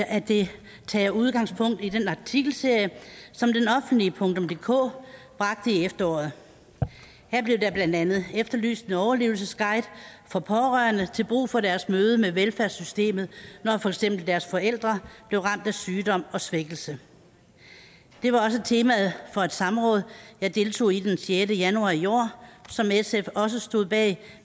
at det tager udgangspunkt i den artikelserie som denoffentligedk bragte i efteråret her blev der blandt andet efterlyst en overlevelsesguide for pårørende til brug for deres møde med velfærdssystemet når for eksempel deres forældre bliver ramt af sygdom og svækkelse det var også temaet for et samråd jeg deltog i den sjette januar i år som sf også stod bag